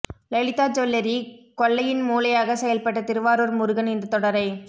Lalitha jewellery கொள்ளையின் மூளையாக செயல்பட்ட திருவாரூர் முருகன் இந்தத் தொடரை